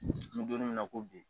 An bɛ donni min na ko bi